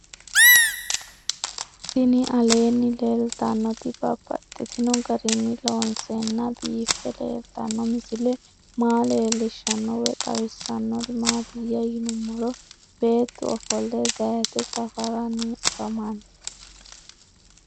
Tinni aleenni leelittannotti babaxxittinno garinni loonseenna biiffe leelittanno misile maa leelishshanno woy xawisannori maattiya yinummoro beettu offolle zayiitte safaaranni afammanno